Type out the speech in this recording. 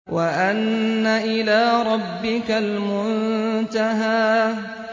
وَأَنَّ إِلَىٰ رَبِّكَ الْمُنتَهَىٰ